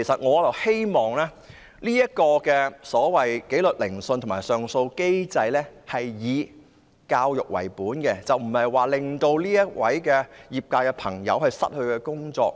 我希望紀律聆訊和上訴機制能以教育為本，不要令從業者失去工作。